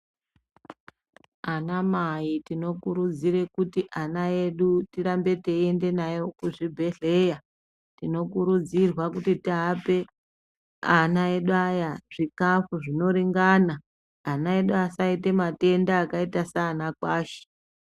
Anamai tinokurudzire kuti ana edu tirambe teiende nayo kuzvibhedhleya. Tinokurudzirwa kuti tiape, ana edu aya zvikhafu zvinoringana. Ana edu asaite matenda akaita saanakwashi.